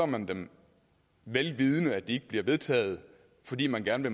man dem vel vidende at de ikke bliver vedtaget fordi man gerne